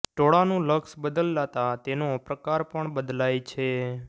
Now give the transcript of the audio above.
ટોળાનું લક્ષ બદલાતા તેનો પ્રકાર પણ બદલાય છે